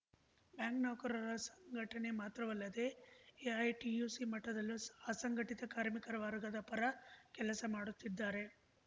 bank ನೌಕರರ ಸಂಘಟನೆ ಮಾತ್ರವಲ್ಲದೇ ಎಐಟಿಯುಸಿ ಮಟ್ಟದಲ್ಲೂ ಅಸಂಘಟಿತ ಕಾರ್ಮಿಕ ವರ್ಗದ ಪರ ಕೆಲಸ ಮಾಡುತ್ತಿದ್ದಾರೆ